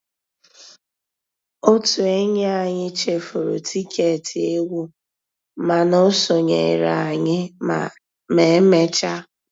Ótú ényí ànyị́ chèfùrú tìkétì égwu mànà ó sonyééré ànyị́ mà emeéchaa